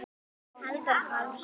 Halldór Pálsson